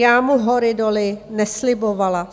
Já mu hory doly neslibovala.